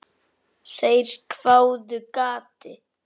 Þeir hváðu: Gati?